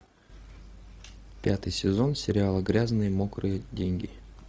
пятый сезон сериала грязные мокрые деньги